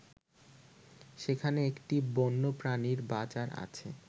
সেখানে একটি বন্যপ্রাণীর বাজার আছে